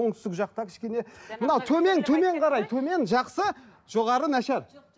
оңтүстік жақта кішкене мына төмен қарай төмен жақсы жоғары нашар